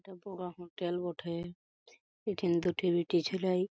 এটা বগা হোটেল বঠে। এঠেন তো লাই।